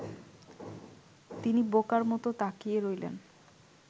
তিনি বোকার মত তাকিয়ে রইলেন